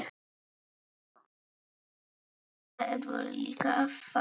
Þannig verður líka að fara.